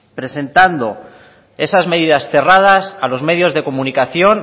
presentando esas medidas cerradas a los medios de comunicación